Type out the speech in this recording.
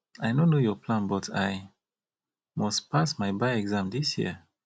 i no know your plan but i must pass my bar exam dis year